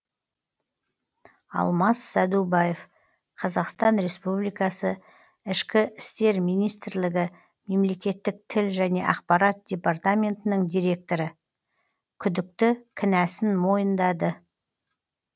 алмас сәдубаев қазақстан республикасы ішкі істер министрлігі мемлекеттік тіл және ақпарат департаментінің директоры күдікті кінәсін мойындады